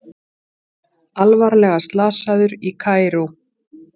Alvarlega slasaður í Kaíró